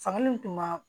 Fanga min tun b'a